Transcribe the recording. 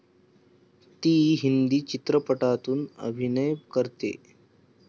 ती हिंदी चित्रपटातून अभिनय करते.